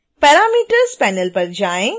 parameters panel पर जाएँ